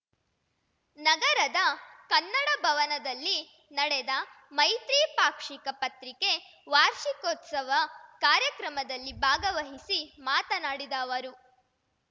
ನಗರದ ಕನ್ನಡಭವನದಲ್ಲಿ ನಡೆದ ಮೈತ್ರಿ ಪಾಕ್ಷಿಕ ಪತ್ರಿಕೆ ವಾರ್ಷಿಕೋತ್ಸವ ಕಾರ್ಯಕ್ರಮದಲ್ಲಿ ಭಾಗವಹಿಸಿ ಮಾತನಾಡಿದ ಅವರು